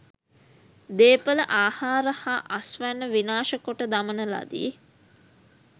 දේපළ ආහාර හා අස්වැන්න විනාශ කොට දමන ලදී.